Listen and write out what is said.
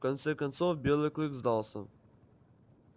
в конце концов белый клык сдался